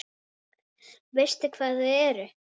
Veistu hvar þau eru?